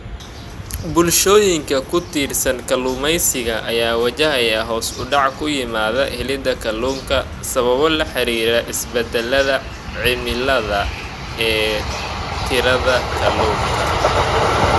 Bulshooyinka ku tiirsan kalluumeysiga ayaa wajahaya hoos u dhac ku yimid helida kalluunka sababo la xiriira isbeddellada cimilada ee tirada kalluunka.